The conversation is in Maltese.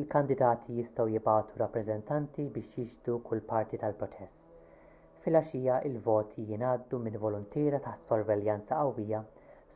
il-kandidati jistgħu jibagħtu rappreżentanti biex jixhdu kull parti tal-proċess filgħaxija il-voti jingħaddu minn voluntiera taħt sorveljanza qawwija